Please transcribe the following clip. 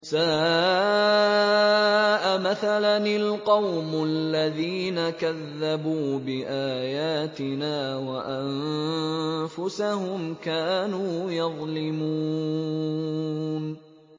سَاءَ مَثَلًا الْقَوْمُ الَّذِينَ كَذَّبُوا بِآيَاتِنَا وَأَنفُسَهُمْ كَانُوا يَظْلِمُونَ